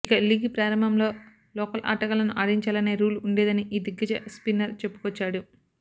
ఇక లీగ్ ప్రారంభంలో లోకల్ ఆటగాళ్లను ఆడించాలనే రూల్ ఉండేదని ఈ దిగ్గజ స్పిన్నర్ చెప్పుకొచ్చాడు